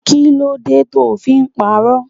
Kí ló dé to fí ń pàrọ?